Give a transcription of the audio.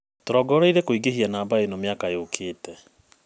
Tũrongoreirie kũingĩhia namba ino mĩakainĩ yũkite.